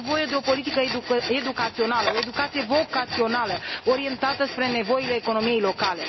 Este nevoie de o politică educațională, o educație vocațională, orientată spre nevoile economiei locale.